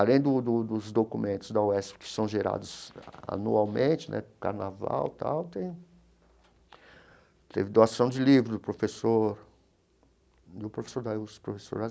Além do do dos documentos da UESP, que são gerados anualmente, né carnaval e tal, tem teve doação de livros do professor do professor da, professor